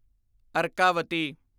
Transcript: Arkavathi